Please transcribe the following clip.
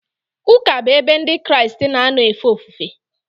Ụka bụ ebe Ndị Kraịst na-anọ efe ofufe.